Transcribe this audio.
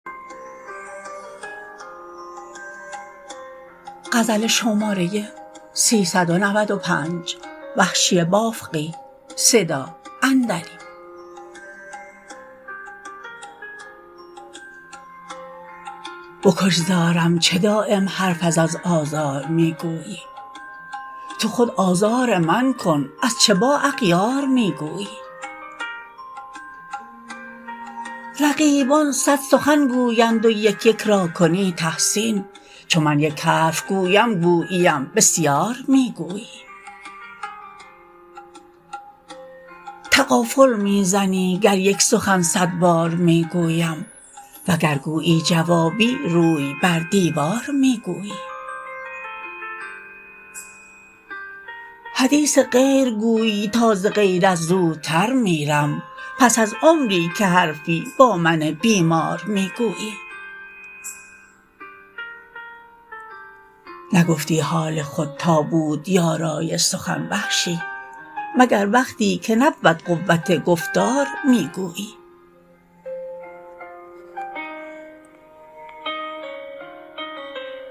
بکش زارم چه دایم حرف از آزار می گویی تو خود آزار من کن از چه با اغیار می گویی رقیبان صد سخن گویند و یک یک را کنی تحسین چو من یک حرف گویم گوییم بسیار می گویی تغافل می زنی گر یک سخن صد بار می گویم و گر گویی جوابی روی بر دیوار می گویی حدیث غیر گویی تا ز غیرت زودتر میرم پس از عمری که حرفی با من بیمار می گویی نگفتی حال خود تا بود یارای سخن وحشی مگر وقتی که نبود قوت گفتار می گویی